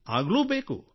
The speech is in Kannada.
ಆಗಲೂ ಬೇಕು